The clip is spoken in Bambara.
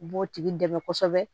U b'o tigi dɛmɛ kosɛbɛ